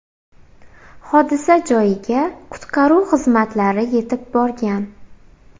Hodisa joyiga qutqaruv xizmatlari yetib borgan.